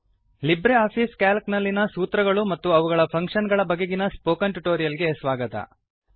Libre office Calc ನಲ್ಲಿನ ಸೂತ್ರಗಳು ಮತ್ತು ಅವುಗಳ ಫಂಕ್ಷನ್ ಗಳ ಬಗೆಗಿನ ಸ್ಪೋಕನ್ ಟ್ಯುಟೋರಿಯಲ್ ಗೆ ಸ್ವಾಗತ